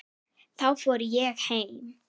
Þá fór ég heim.